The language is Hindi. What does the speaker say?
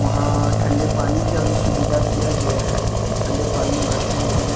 वहां ठंडे पानी के अभी सुविधा किया गया है ठंडा पानी भरते हैं।